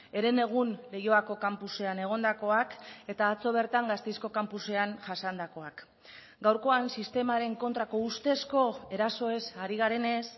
herenegun leioako kanpusean egondakoak eta atzo bertan gasteizko kanpusean jasandakoak gaurkoan sistemaren kontrako ustezko erasoez ari garenez